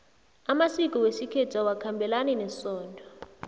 amasiko wesikhethu awakhabelani nesondo